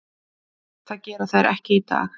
Það gera þær ekki í dag.